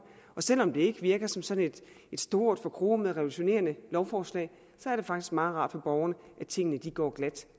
og selv om det ikke virker som sådan et stort forkromet og revolutionerende lovforslag er det faktisk meget rart for borgerne at tingene går glat